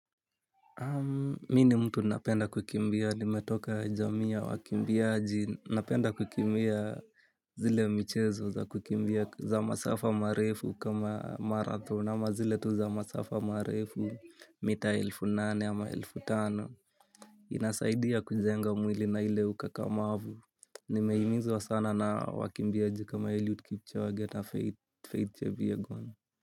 Mi ni mtu napenda kukimbia. Nimetoka jamii ya wakimbiaji, napenda kukimbia zile michezo za kukimbia za masafa marefu kama marathon ama zile tu za masafa marefu mita elfu nane ama elfu tano. Inasaidia kujenga mwili na ile ukakamavu. Nimehimizwa sana na wakimbiaji kama Eliud Kipchoge na Faith Kipyegon.